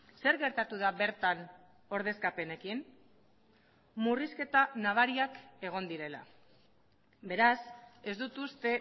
zer gertatu da bertan ordezkapenekin murrizketa nabariak egon direla beraz ez dut uste